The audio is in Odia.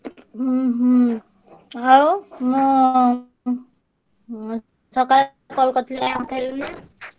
ହୁଁ ହୁଁ। ଆଉ ମୁଁ ଉଁ ଉଁ ସକାଳେ call କରିଥିଲି କାଇଁ ଉଠେଇଲୁନି?